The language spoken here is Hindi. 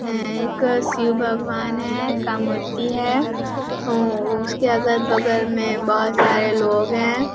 अअअअ एक शिव भगवान है का मूर्ति है ओ उसके अगल- बगल में बहोत सारे लोग हैं ।